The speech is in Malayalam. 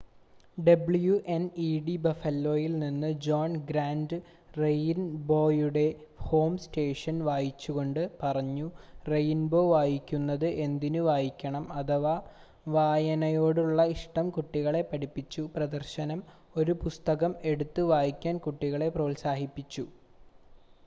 "ഡബ്ല്യുഎൻ‌ഇഡി ബഫലോയിൽ നിന്ന് ജോൺ ഗ്രാന്റ് റെയിൻബോയുടെ ഹോം സ്റ്റേഷൻ വായിച്ചുക്കൊണ്ട് പറഞ്ഞു "റെയിൻബോ വായിക്കുന്നത് എന്തിന് വായിക്കണം... അഥവാ വായനയോടുള്ള ഇഷ്ടം കുട്ടികളെ പഠിപ്പിച്ചു - [പ്രദർശനം] ഒരു പുസ്തകം എടുത്ത് വായിക്കാൻ കുട്ടികളെ പ്രോത്സാഹിപ്പിച്ചു.""